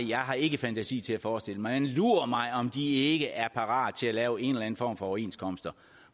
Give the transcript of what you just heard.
jeg har ikke fantasi til at forestille mig det lur mig om de ikke er parate til at lave en eller anden form for overenskomst